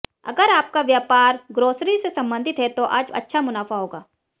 अगर आपका व्यापार ग्रॉसरी से सम्बंधित है तो आज अच्छा मुनाफा होगा